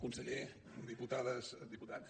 conseller diputades diputats